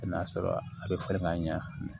I n'a sɔrɔ a bɛ falen ka ɲɛ